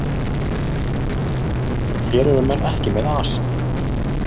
Hér eru menn ekki með asa.